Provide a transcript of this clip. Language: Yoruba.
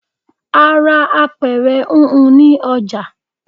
A ra àpẹrẹ húnhun ni ọjà